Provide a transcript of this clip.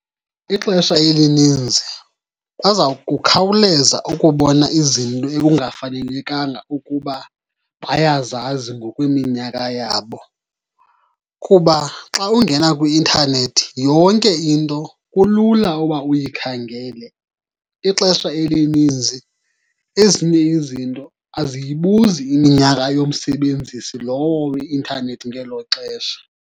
Ixesha elininzi baza kukhawuleza ukubona izinto ekungafanelekanga ukuba bayazazi ngokweminyaka yabo. Kuba xa ungena kwi-intanethi yonke into kulula uba uyikhangele. Ixesha elininzi ezinye izinto aziyibuzi iminyaka yomsebenzisi lowo weintanethi ngelo xesha.